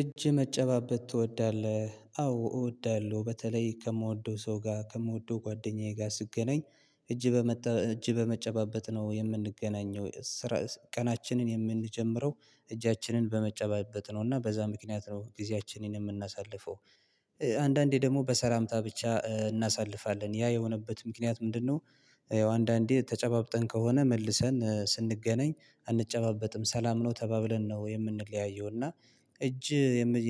እጅ መጨባበጥ ትወዳለህ? አዎ እወዳለሁ። በተለይ ከምወደው ሰው ጋር ከምወደው ጓደኛዬ ጋር ስገናኝ እጅ በመጨባበጥ ነው የምንገናኘው። ቀናችንን የምንጀምረው እጃችንን በመጨበጥ ነው። እና በዛ ምክንያት ነው ጊዜያችንን የምናሳልፈው። አንዳንዴ ደግሞ በሰላምታ ብቻ እናሳልፋለን። ያ የሆነበት ምክንያት ምንድነው? ያው አንዳንዴ ተጨባብጠን ከሆነ መልሰን ስንገናኝ አንጨባበጥም። ሰላም ነው ተባብለን ነው የምንለያየው። እና እጅ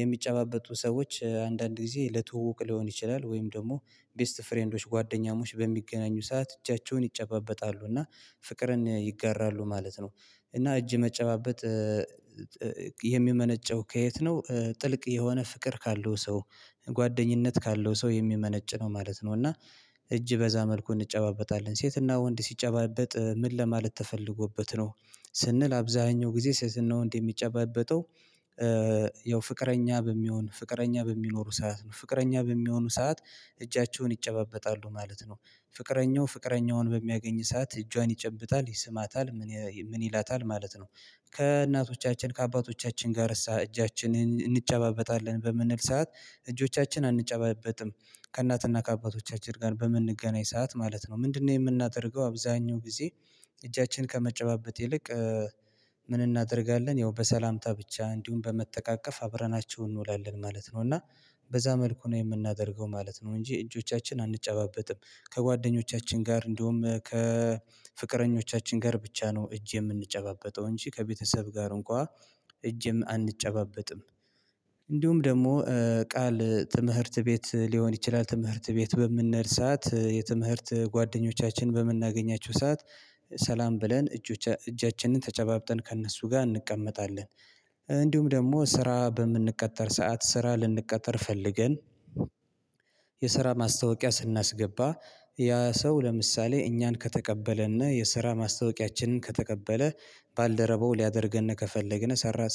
የሚጨባበጡ ሰዎች አንዳንድ ጊዜ ለትወቅ ሊሆን ይችላል። ወይም ደግሞ ቤስት ፍሬንዶች፣ ጓደኛሞች በሚገናኙ ሰዓት እጃቸውን ይጨባበጣሉ። እና ፍቅርን ይጋራሉ ማለት ነው። እና እጅ መጨባበጥ የሚመነጨው ከየት ነው? ጥልቅ የሆነ ፍቅር ካለው ሰው፣ ጓደኝነት ካለው ሰው የሚመነጭ ነው ማለት ነው። እና እጅ በዛ መልኩን እንጨባበጣለን ሴትና ወንድ ሲጨባበጥ ምን ለማለት ተፈልጎበት ነው ስንል አብዛኛው ጊዜ ስዕስና ወንድ የሚጨባበጠው ያው ፍቅረኛ በሚሆኑ ሰዓት እጃቸውን ይጨባበጣሉ ማለት ነው። ፍቅረኛው ፍቅረኛውን በሚያገኝ ሰዓት እጇን ይጨብጣል ይስማታል። ምን ምን ይላታል ማለት ነው። ከእናቶቻችን ከአባቶቻችን ጋር እጃችንን እንጨባበጣለን በምንል ሰዓት እጆቻችን አንጨባበጥም። ከእናትና ከአባቶቻችን ጋር በምንገናኝ ሰዓት ማለት ነው። ምንድነው የምናደርገው? አብዛኛው ጊዜ እጃችን ከመጨባበጥ ይልቅ ምን እናደርጋለን ያው በሰላምታ ብቻ እንዲሁም በመተቃቀፍ አብረናቸው እንውላለን ማለት ነው። እና በዛ መልኩ ነው የምናደርገው ማለት ነው እንጂ እጆቻችን አንጨባበጥም። ከጓደኞቻችን ጋር እንድሁም ከፍቅረኞቻችን ጋር ብቻ ነው እጅ የምንጨባበጠው እንጂ ከቤተሰብ ጋር እንኳን እጅም አንጨባበጥም። እንዲሁም ደግሞ ቃል ትምህርት ቤት ሊሆን ይችላል። ትምህርት ቤት በምንሄድ ሰዓት የትምህርት ጓደኞቻችን በምናገኛችሁ ሰዓት እጅ በዛ መልኩን እንጨባበጣለን። ሴትና ወንድ ሲጨባበጥ ምን ለማለት ተፈልጎበት ነው ስንል አብዛኛው ጊዜ ሴትና ወንድ የሚጨባበጠው የስራ ማስታወቂያ ስናስገባ ያ ሰው ለምሳሌ እኛን ከተቀበለና የስራ ማስታወቂያችንን ከተቀበለ፣ ባልደረባው ሊያደርገን ከፈለገ፣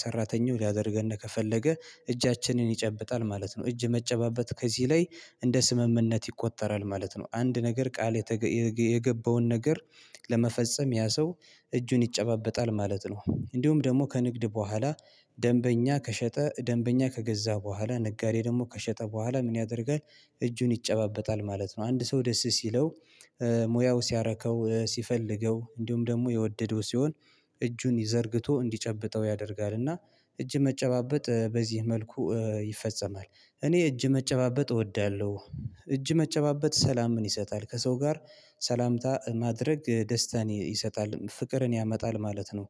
ሰራተኛው ሊያደርገን ከፈለገ፣ እጃችንን ይጨብጣል ማለት ነው። እጅ መጨባበጥ ከዚህ ላይ እንደ ስምምነት ይቆጠራል ማለት ነው። አንድ ነገር ቃል የገባውን ነገር ለመፈጸም ያ ሰው እጁን ይጨባበጣል ማለት ነው። እንዲሁም ደግሞ ከንግድ በኋላ ደንበኛ ከሸጠ ደንበኛ ከገዛ በኋላ፣ ነጋዴ ደግሞ ከሸጠ በኋላ ምን ያደርጋል? እጁን ይጨባበጣል ማለት ነው። አንድ ሰው ደስ ሲለው ሙያው ሲያረከው፣ ሲፈልገው፣ እንዲሁም ደግሞ የወደደው ሲሆን እጁን ዘርግቶ እንዲጨብጠው ያደርጋል። እና እጅ መጨባበጥ በዚህ መልኩ ይፈጸማል። እኔ እጅ መጨባበጥ እወዳለሁ። እጅ መጨባበጥ ሰላም ምን ይሰጣል። ከሰው ጋር ሰላምታ ማድረግ ደስታን ይሰጣል። ፍቅርን ያመጣል ማለት ነው።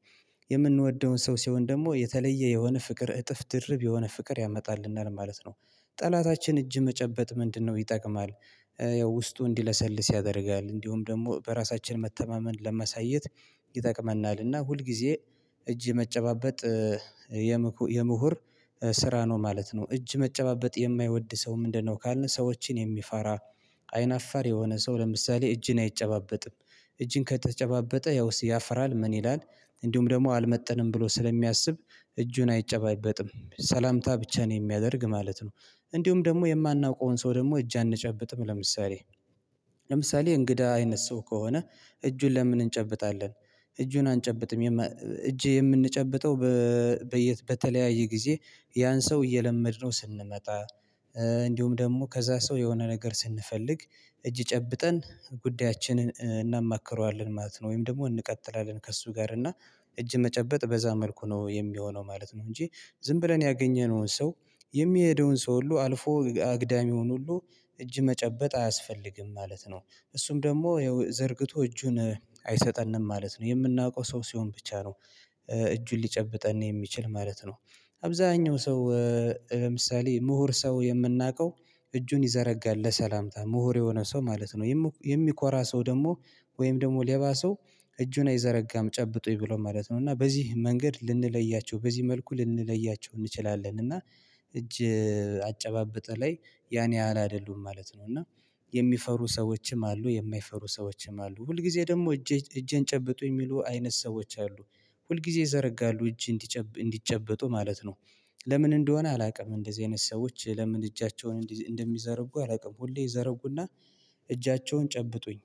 የምንወደውን ሰው ሲሆን ደግሞ የተለየ የሆነ ፍቅር እጥፍ ድርብ የሆነ ፍቅር ያመጣልናል ማለት ነው። ጠላታችን እጅ መጨበጥ ምንድነው ይጠቅማል። ያው ውስጡ እንዲለሰልስ ያደርጋል። እንዲሁም ደግሞ በራሳችን መተማመን ለመሳየት ይጠቅመናል። እና ሁል ጊዜ እጅ መጨባበጥ የምሁር ስራ ነው ማለት ነው። እጅ መጨባበጥ የማይወድ ሰው ምንድነው ካልን ሰዎችን የሚፈራ፣ አይን አፋር የሆነ ሰው ለምሳሌ እጅን አይጨባበጥም። እጅን ከተጨባበጠ ያው ያፍራል። ምን ይላል። እንዲሁም ደግሞ አልመጥንም ብሎ ስለሚያስብ እጁን አይጨባበጥም። ሰላምታ ብቻ ነው የሚያደርግ ማለት ነው። እንዲሁም ደግሞ የማናውቀውን ሰው ደግሞ እጅ አንጨብጥም ለምሳሌ። ለምሳሌ እንግዳ አይነት ሰው ከሆነ እጁን ለምን እንጨብጣለን? እጁን አንጨብጥም። እጄ የምንጨብጠው በተለያየ ጊዜ ያን ሰው እየለመድነው ስንመጣ፣ እንዲሁም ደግሞ ከዛ ሰው የሆነ ነገር ስንፈልግ እጅ ጨብጠን ጉዳያችንን እናማክረዋለን ማለት ነው። ወይም ደግሞ እንቀጥላለን ከእሱ ጋር። እና እጅ መጨበጥ በዛ መልኩ ነው የሚሆነው ማለት ነው እንጂ ዝም ብለን ያገኘነውን ሰው የሚሄደውን ሰው ሁሉ አልፎ አግዳሚውን ሁሉ እጅ መጨበጥ አያስፈልግም ማለት ነው። እሱም ደግሞ ያው ዘርግቶ እጁን አይሰጠንም ማለት ነው። የምናውቀው ሰው ሲሆን ብቻ ነው። እጁን ሊጨብጠን የሚችል ማለት ነው። አብዛኛው ሰው ለምሳሌ ምሁር ሰው የምናውቀው እጁን ይዘረጋል ለሰላምታ። ምሁር የሆነ ሰው ማለት ነው። የሚኮራ ሰው ደግሞ ወይም ደግሞ ሌባ ሰው እጁን አይዘረጋም ጨብጦኝ ብሎ ማለት ነው። እና በዚህ መንገድ ልንለያቸው፣ በዚህ መልኩ ልንለያቸው እንችላለን። እና እጅ አጨባብጥ ላይ ያን ያህል አይደሉም ማለት ነው። እና የሚፈሩ ሰዎችም አሉ። የማይፈሩ ሰዎችም አሉ። ሁልጊዜ ደግሞ እጄን ጨብጡ የሚሉ አይነት ሰዎች አሉ። ሁልጊዜ ይዘረጋሉ። እጅ እንዲጨበጡ ማለት ነው። ለምን እንደሆነ አላውቅም። እንደዚህ አይነት ሰዎች ለምን እጃቸውን እንደሚዘረጉ አላውቅም። ሁሌ ይዘረጉና እጃቸውን ጨብጡኝ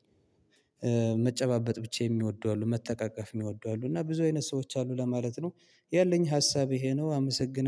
መጨባበጥ ብቻ የሚወዱ አሉ። መተቃቀፍ የሚወዱ አሉ። እና ብዙ አይነት ሰዎች አሉ ለማለት ነው። ያለኝ ሀሳብ ይሄ ነው። አመሰግናለሁ።